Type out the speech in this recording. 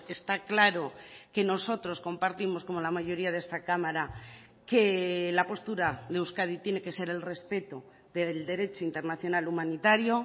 está claro que nosotros compartimos como la mayoría de esta cámara que la postura de euskadi tiene que ser el respeto del derecho internacional humanitario